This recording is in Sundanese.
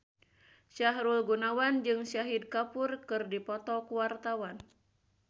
Sahrul Gunawan jeung Shahid Kapoor keur dipoto ku wartawan